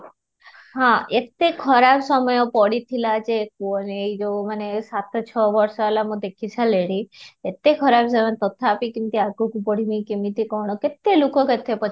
ହଁ, ଏତେ ଖରାପ ସମୟ ପଡିଥିଲା ଯେ କୁହନି ଏଇ ଯଉ ମାନେ ସାତ ଛଅ ବର୍ଷ ହେଲା ଦେଖି ସାରିଲିଣି ଏତେ ଖରାପ ସମୟ ତଥାପି କେମିତି ଆଗକୁ ବଢିମି କେମିତି କ'ଣ କେତେ ଲୋକ କେତେ କଥା